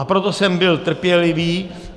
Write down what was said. A proto jsem byl trpělivý.